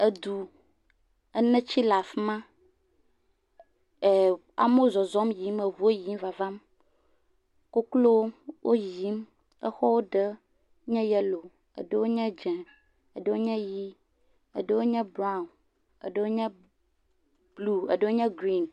Edu, eneti le afi ma, eeem, amewo zɔzɔm yiyim, eŋuwo yiyim vavam, koklowo woyiyim, exɔ ɖewo nye yelo. Eɖe nye dze, eɖewo nye ʋi, eɖewo nye braw, eɖewo nye blu, eɖewo nye grin.